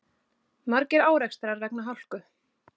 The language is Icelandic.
Margir árekstrar vegna hálku